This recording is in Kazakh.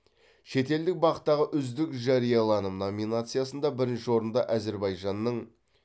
шетелдік бақ тағы үздік жарияланым номинациясында бірінші орынды әзербайжанның